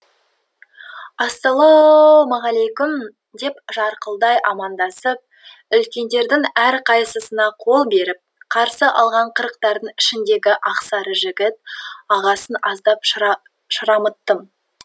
ассалауу мағалейкуум деп жарқылдай амандасып үлкендердің әрқайсысына қол беріп қарсы алған қырықтардың ішіндегі ақсары жігіт ағасын аздап шырамыттым